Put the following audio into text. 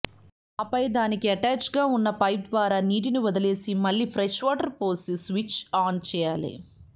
ఆపై దానికి అటాచ్డ్గా ఉన్న పైప్ ద్వారా నీటిని వదిలేసి మళ్లీ ఫ్రెష్ వాటర్ పోసి స్విచ్ ఆన్ చేయాలి